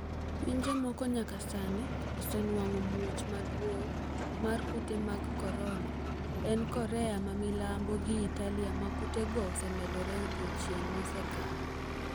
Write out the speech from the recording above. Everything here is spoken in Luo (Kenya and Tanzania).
Pinje moko nyaka sani osenwang'o muoch maduong' mar kute mag korona en Korea ma milambo gi Italia ma kutego osemedore odiyochienge mosekalo.